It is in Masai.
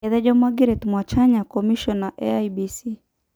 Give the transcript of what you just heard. Etejo Margaret Mwachanya, komishona e IEBC.